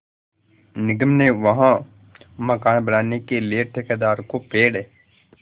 निगम ने वहाँ मकान बनाने के लिए ठेकेदार को पेड़